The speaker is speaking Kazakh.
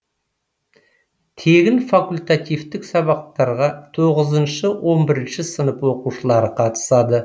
тегін факультативтік сабақтарға тоғызыншы он бірінші сынып оқушылары қатысады